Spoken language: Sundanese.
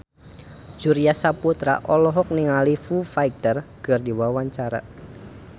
Surya Saputra olohok ningali Foo Fighter keur diwawancara